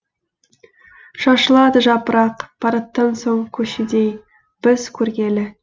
шашылады жапырақ параттан соң көшедей біз көргелі